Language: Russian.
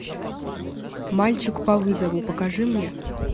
мальчик по вызову покажи мне